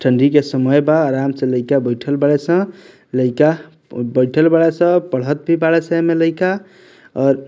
ठंडी के समय बा आराम से लइका बइठल बाड़न सन लइका बैठल बाड़न सन पढ़त भी बाड़न सन एमे लइका और --